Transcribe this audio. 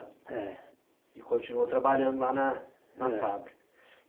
É. E continuou trabalhando lá na na fábrica. É